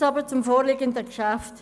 Jetzt aber zum vorliegenden Geschäft.